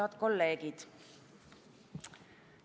Head kolleegid!